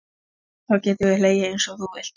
Þá geturðu hlegið einsog þú vilt.